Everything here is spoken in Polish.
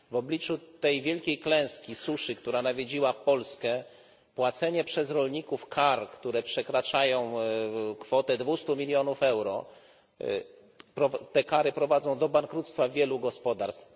W obliczu tej wielkiej klęski suszy, która nawiedziła Polskę, płacenie przez rolników kar, które przekraczają kwotę dwustu milionów euro, prowadzi do bankructwa wielu gospodarstw.